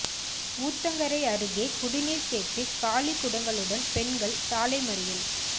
ஊத்தங்கரை அருகே குடிநீர் கேட்டு காலி குடங்களுடன் பெண்கள் சாலை மறியல்